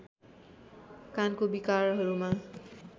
कानको विकारहरूमा